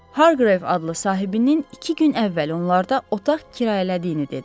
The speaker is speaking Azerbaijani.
Harqreyv adlı sahibinin iki gün əvvəl onlarda otaq kirayələdiyini dedi.